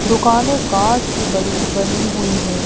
दुकानें कांच की बड़ी बनी हुई हैं।